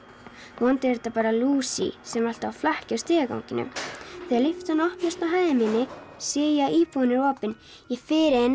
vonandi er þetta bara sem er alltaf á flakki í stigaganginum þegar lyftan opnast á hæðinni minn sé ég að íbúðin er opin ég fer inn